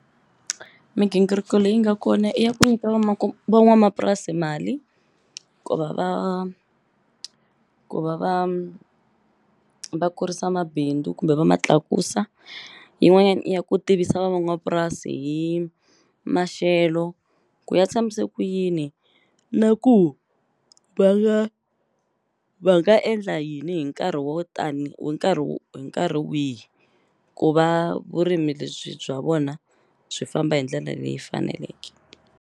Migingiriko leyi nga kona i ya ku nyika van'wamapurasi mali ku va va ku va va va kurisa mabindzu kumbe va ma tlakusa yin'wanyaia i ya ku tivisa van'wamapurasi hi maxelo ku ya tshamise ku yini na ku va nga va nga endla yini hi nkarhi wo tani hi nkarhi hi nkarhi wihi ku va vurimi lebyi bya vona byi famba hi ndlela leyi faneleke.